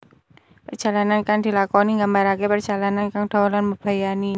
Perjalanan kang dilakoni nggambaraké parjalanan kang dawa lan mbebayani